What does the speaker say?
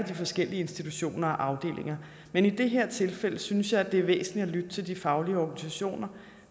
de forskellige institutioner og afdelinger men i det her tilfælde synes jeg det er væsentligt at lytte til de faglige organisationer